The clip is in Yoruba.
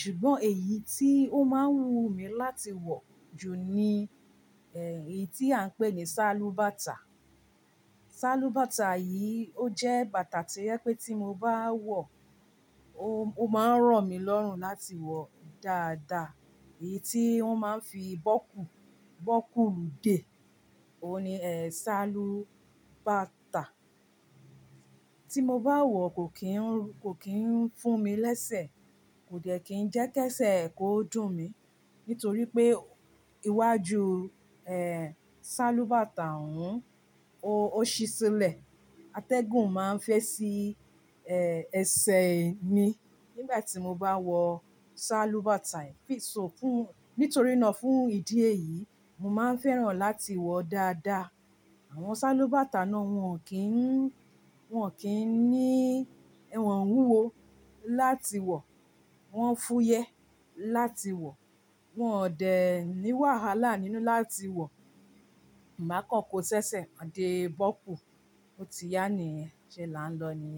ṣùgbọ́n èyí tí ó máa ń wú mi láti wọ̀ jù ni, ẹ́, èyí tí à ń pè ní sálúbàtà. Sálúbàtà yìí, ó jẹ́ bàtà tí ẹ pé tí mo bá wọ̀ o máa ń ràn mí lọ́rùn láti wọ̀ dáadáa. Èyí tí wọ́n máa ń fi bọ́kù, bọ́kù lù dé. Ó ní, ẹ́, sálúbàtà. Tí mo bá wọ̀ kò kín ń fún mi lẹ́sẹ̀, kò jẹ́ kí ń jẹ́ kẹ́sẹ̀ kò dùn mi, nítorí pé iwájú, ẹ́, sálúbàtà òun ó ṣí sílẹ̀. Atẹ́gùn máa ń fẹ́ sí, ẹ́, ẹsẹ̀ mi nígbà tí mo bá wọ sálúbàtà. Nítorí náà fún ìdí èyí, mo máa ń fẹ́ràn láti wọ̀ dáadáa. Àwọn sálúbàtà náà wọ́n kì ń, wọ́n kì í ní, wọ́n wúwo láti wọ̀, wọ́n fúyẹ́ láti wọ̀, wọn ò dẹ ní wàhálà nínú láti wọ̀. Ìgbà kan kò ṣẹṣẹ, a dé bọ́kù, ó ti yá nìyẹn, ṣe lá ń lọ nìyẹn.